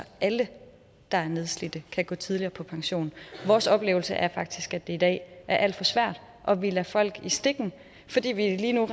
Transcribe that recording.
alle der er nedslidte kan gå tidligere på pension vores oplevelse er faktisk at det i dag er alt for svært og at vi lader folk i stikken fordi vi lige nu